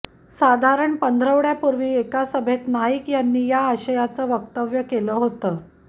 साधारण पंधरवड्यापूर्वी एका सभेत नाईक यांनी या आशयाचं वक्तव्य केलं होतं